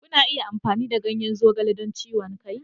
Kuna iya amfani da ganyen zogale don ciwon kai.